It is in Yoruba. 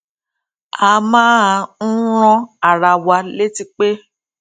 a máa ń rán ara wa létí pé